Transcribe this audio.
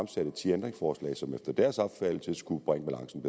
stillet ti ændringsforslag som efter deres opfattelse skulle bringe balancen